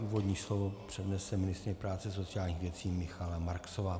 Úvodní slovo přednese ministryně práce a sociálních věcí Michaela Marksová.